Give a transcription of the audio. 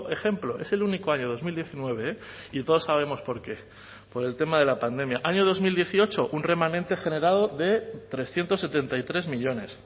ejemplo es el único año dos mil diecinueve eh y todos sabemos por qué por el tema de la pandemia año dos mil dieciocho un remanente generado de trescientos setenta y tres millónes